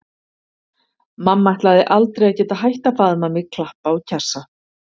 Mamma ætlaði aldrei að geta hætt að faðma mig, klappa og kjassa.